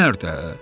Döyünər də.